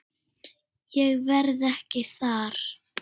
Ég verð ekki þar.